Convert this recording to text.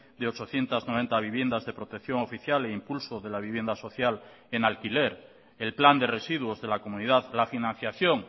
de ochocientos noventa viviendas de protección oficial e impulso de la vivienda social en alquiler el plan de residuos de la comunidad la financiación